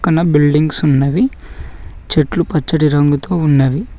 పక్కన బిల్డింగ్స్ ఉన్నవి చెట్లు పచ్చటి రంగుతో ఉన్నవి.